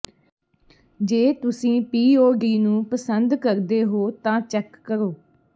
ਜੇ ਤੁਸੀਂ ਪੀਓਡੀ ਨੂੰ ਪਸੰਦ ਕਰਦੇ ਹੋ ਤਾਂ ਚੈੱਕ ਕਰੋ